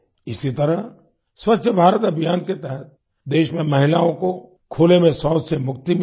इसी तरह स्वच्छ भारत अभियान के तहत देश में महिलाओं को खुले में शौच से मुक्ति मिली है